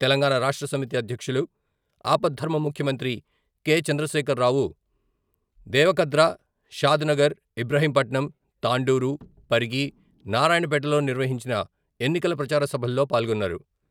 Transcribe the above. తెలంగాణ రాష్ట్ర సమితి అధ్యక్షులు, అపద్ధర్మ ముఖ్యమంత్రి కె.చంద్రశేఖరరావు దేవరకద్ర, షాద్ నగర్, ఇబ్రహీంపట్నం, తాండూరు, పరిగి, నారాయణపేటలో నిర్వహించిన ఎన్నికల ప్రచార సభల్లో పాల్గొన్నారు.